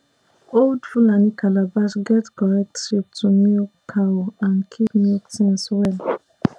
old fulani calabash get correct shape to milk cow and keep milk things well